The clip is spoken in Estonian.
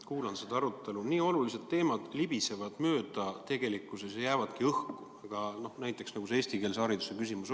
Kuulan seda arutelu – nii olulised teemad libisevad tegelikult mööda, jäävad õhku, näiteks see eestikeelse hariduse küsimus.